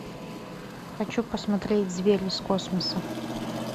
хочу посмотреть звери из космоса